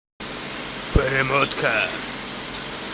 перемотка